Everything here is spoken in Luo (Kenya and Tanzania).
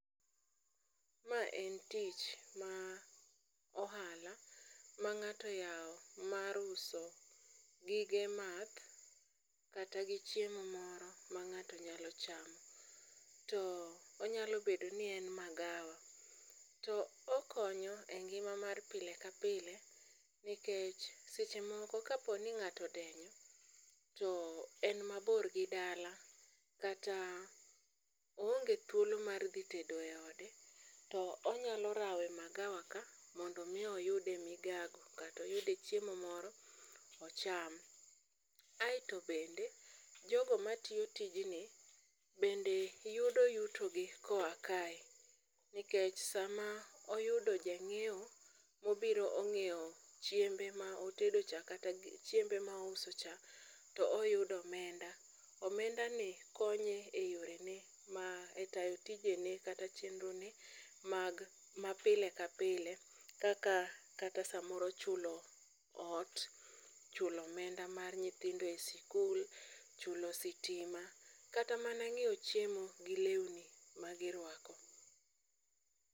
Ma en tich ma ohala ma ng'ato oyawo mar uso gige math kata gi chiemo moro ma ng'ato nyalo chamo. To onyalo bedo ni en magawa, to okonyo e ngima mar pile ka pile, nikech seche moko kaponi nga'to odenyo to en mabor gi dala kata oonge thuolo mar dhi tedo e ode. To onyalo rawe magawa ka, mondo mi oyude migago katoyude chiemo moro ocham. Aeto bende jogo matiyo tijni bende yudo yuto gi koa kae, nikech sama oyudo jang'iewo mobiro ong'iewo chiembe ma otedo cha kata chiembe ma ouso cha, toyudo omenda. Omenda ni konye e yore ne ma e tayo tije ne kata chenro ne mag ma pile ka pile, kaka kata samoro chulo ot, chulo omenda mar nyithindo e sikul. Chulo sitima, kata mana ng'iewo chiemo gi lewni ma girwako.